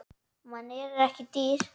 Mann en ekki dýr.